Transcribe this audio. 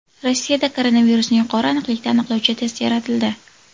Rossiyada koronavirusni yuqori aniqlikda aniqlovchi test yaratildi.